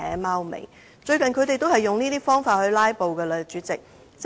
他們最近也曾經利用這方法進行"拉布"。